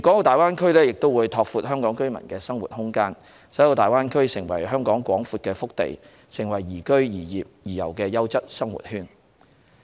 大灣區亦會拓闊香港居民的生活空間，使大灣區成為香港廣闊的腹地，成為宜居、宜業、宜遊的優質生活圈。